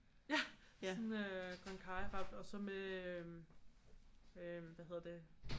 Ja sådan grøn karryret og så med øh hvad hedder det